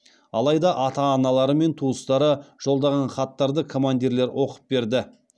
алайда ата аналары мен туыстары жолдаған хаттарды командирлер оқып берді